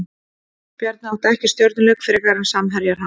Bjarni átti ekki stjörnuleik frekar en samherjar hans.